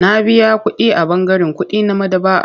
Na biya kuɗi a ɓangaren kuɗi na maɗaba'ar.